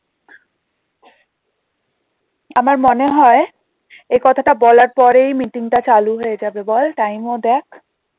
আমার মনে হয় এ কথাটা বলার পরেই meeting টা চালু হয়ে যাবে বল time ও দেখ